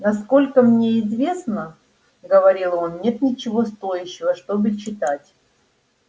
насколько мне известно говорил он нет ничего стоящего чтобы читать